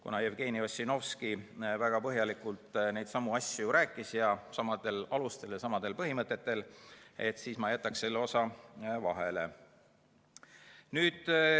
Kuna Jevgeni Ossinovski väga põhjalikult neidsamu asju rääkis, samadel alustel ja samadel põhimõtetel, siis ma jätan selle osa vahele.